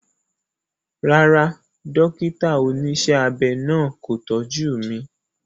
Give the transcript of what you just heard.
Rárá, dókítà oníṣẹ́ abẹ náà kò tọ́jú mi